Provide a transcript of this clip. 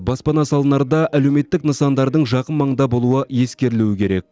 баспана салынарда әлеуметтік нысандардың жақын маңда болуы ескерілуі керек